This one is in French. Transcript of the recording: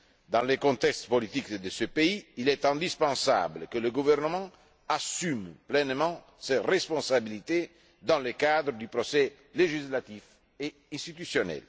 Dans le contexte politique de ce pays, il est indispensable que le gouvernement assume pleinement ses responsabilités dans le cadre du processus législatif et institutionnel.